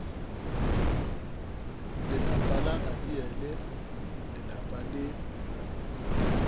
lelapa la abiele lelapa le